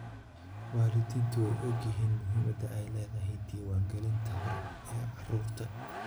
Waalidiintu way ogyihiin muhiimadda ay leedahay diiwaangelinta hore ee carruurta.